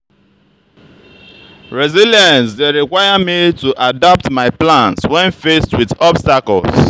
resilience dey require me to adapt my plans when faced with obstacles.